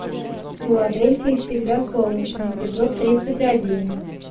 в филадельфии всегда солнечно эпизод тридцать один